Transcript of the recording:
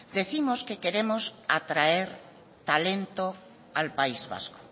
décimos que queremos atraer talento al país vasco